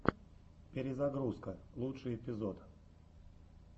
перезагрузка лучший эпизод